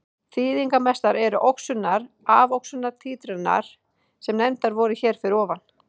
Þýðingarmestar eru oxunar-afoxunar títranir sem nefndar voru hér fyrir ofan.